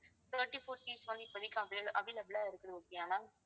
thirty-four seats வந்து இப்ப வந்து இப்போதைக்கு avail~ available இருக்குது okay யா ma'am